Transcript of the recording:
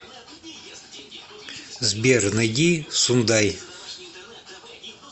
сбер найди сундай